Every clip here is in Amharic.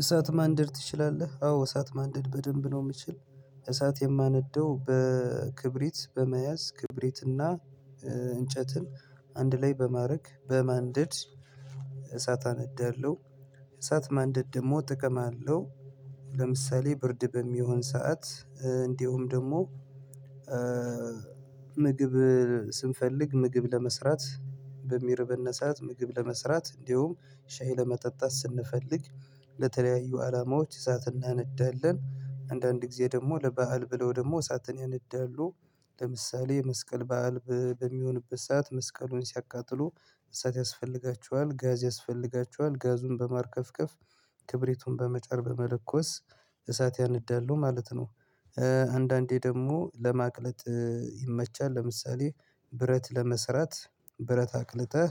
እሳት ማንደድ ትችላለህ? አዎ እሳት ማንደድ በደንብ ነው የምችል እሳት የማነደው በክብሪት በመያዝ ክብሪትና እንጨትን አንድ ላይ በማድረግ በማንደድ እሳት አነዳለሁ እሳት ማንደድ ደግሞ ጥቅም አለው ለምሳሌ ብርድ በሚሆን ሰዓት እንዲሁም ደግሞ ምግብ ስንፈልግ ምግብ ለመስራት በሚርበነ ሰዓት ምግብ ለመስራት እንዲሁም ሻይ ለመጠጣት ስንፈልግ ለተለያዩ አላማዎች እሳት እናነዳለን አንዳንድ ጊዜ ደግሞ ለበአል ብለው ደግሞ እሳትን ያነዳሉ ለምሳሌ መስቀል በዓል በሚሆንበት ሰዓት መስቀሉን ሲያቃጥሉ እሳት ያስፈልጋቸዋል ጋዝ ያስፈልጋቸዋል ጋዙን በማርከፍከፍ ክብሪቱን በመጫር በመለኮስ እሳት ያነዳሉ ማለት ነው አንዳንዴ ደግሞ ለማቅለጥ ይመቻል ለምሳሌ ብረት ለመስራት ብረት አቅልጠህ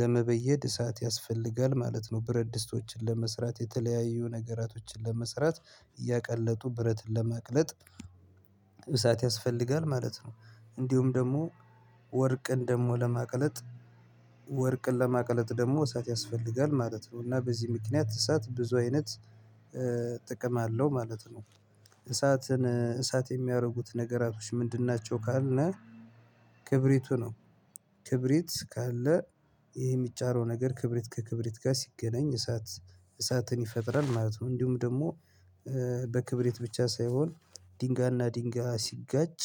ለመበየድ እሳት ያስፈልጋል ማለት ነው ብረት ድስቶችን ለመስራት የተለያዩ ነገራቶችን ለመስራት እያቀለጡ ብረትን ለማቅለጥ እሳት ያስፈልጋል ማለት ነው እንዲሁም ደግሞ ወርቅን ደግሞ ለማቅለጥ ወርቅን ለማቅለጥ ደግሞ እሳት ያስፈልጋል ማለት ነው እና በዚህ ምክንያት እሳት ብዙ አይነት ጥቅም አለው ማለት ነው እሳት የሚያደርጉት ነገራቶች ምንድን ናቸው ካልነ ክብሪቱ ነው ክብሪት ካለ ይሄ የሚጫረው ነገር ክብሪት ከክብሪት ጋር ሲገናኝ እሳት እሳትን ይፈጥራል ማለት ነው እንዲሁም ደግሞ በክብሪት ብቻ ሳይሆን ድንጋይና ድንጋይ ሲጋጭ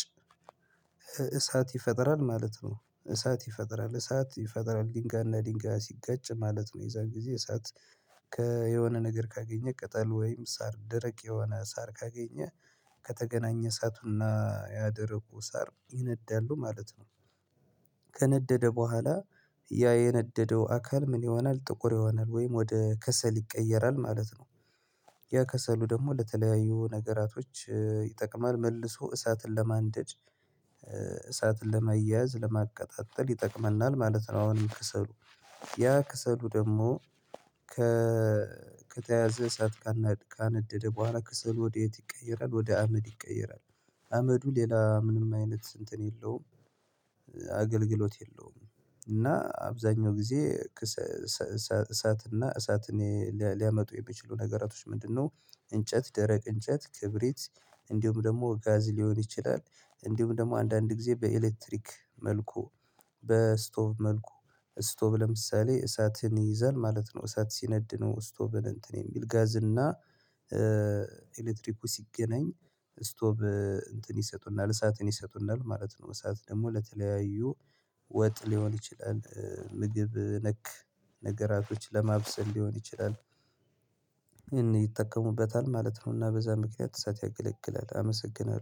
እሳት ይፈጥራል ማለት ነው እሳት ይፈጥራል እሳት ይፈጥራል ድንጋይና ድንጋይ ሲጋጭ ማለት ነው የዛን ጊዜ እሳት ከ የሆነ ነገር ካገኘ ቅጠል ወይም ሳር ደረቅ የሆነ ሳር ካገኘ ከተገናኘ እሳቱና ያ ደረቁ ሳር ይነዳሉ ማለት ነው ከነደደ በኋላ ያ የነደደው አካል ምን ይሆናል ጥቁር ይሆናል ወይም ወደ ከሰል ይቀየራል ማለት ነው ያ ከሰሉ ደግሞ ለተለያዩ ነገራቶች ይጠቅማል መልሶ እሳትን ለማንደድ እሳትን ለማያያዝ ለማቀጣጠል ይጠቅመናል ማለት ነው አሁንም ከሰሉ ያ ከሰሉ ደግሞ ከተያዘ ሰዓት ካነደደ በኋላ ከሰሉ ወዴት ይቀየራል ወደ አመድ ይቀየራል አመዱ ሌላ ምንም አይነት እንትን የለውም አገልግሎት የለውም እና አብዛኛው ጊዜ እሳት እና እሳት ሊያመጡ የሚችሉ ነገራቶች ምንድነው እንጨት ደረቅ እንጨት ክብሪት እንዲሁም ደግሞ ጋዝ ሊሆን ይችላል እንዲሁም ደግሞ አንዳንድ ጊዜ በኤሌክትሪክ መልኩ በስቶቭ መልኩ ስቶቭ ለምሳሌ እሳትን ይይዛል ማለት ነው እሳት ሲነድ ነው ስቶቭን እንትን የሚል ጋዝ እና ኤሌክትሪኩ ሲገናኝ ስቶቭ እንትን ይሰጡናል እሳትን ይሰጡናል ማለት ነው እሳት ደግሞ ለተለያዩ ወጥ ሊሆን ይችላል ምግብ ነክ ነገራቶች ለማብሰል ሊሆን ይችላል ማለት ነውና በዛ ምክንያት እሳት ያገለግላል አመሰግናለሁ